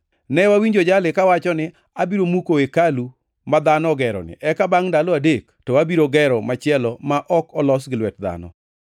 “Ne wawinjo jali kawacho ni, ‘Abiro muko hekalu ma dhano ogeroni eka bangʼ ndalo adek to, abiro gero machielo ma ok olos gi lwet dhano.’ ”